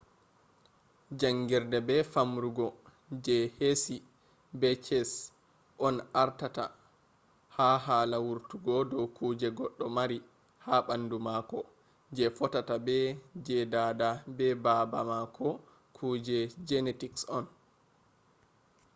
jangirde be famrugo je heshi be ches on ardata ha hala wurti dow kuje goɗɗo mari ha ɓandu mako je fotata be je dada be baba mako kuje genetics on